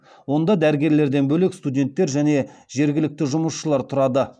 онда дәрігерлерден бөлек студенттер және жергілікті жұмысшылар тұрады